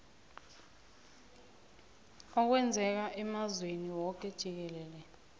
okwenzeka emazweni woke jikelele